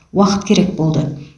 уақыт керек болды